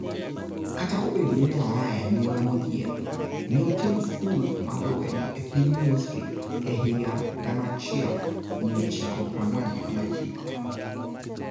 Kata obedo ni ne oa e anyuola modhier, ne otieko skul mar lweny e piny Misri e higa 1949.